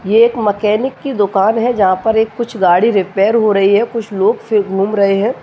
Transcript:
ये एक मैकेनिक कि दुकान है जहाँ पर एक कुछ गाड़ी रिपेयर हो रही है कुछ लोग फिर घूम रहें हैं।